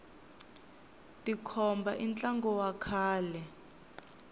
tikhomba i ntlangu wa kahle